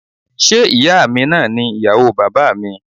Ṣé ìyáa mi náà ni ìyàwó bàbáà mi?